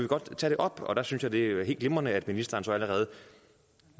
godt tage det op og der synes jeg at det er helt glimrende at ministeren så allerede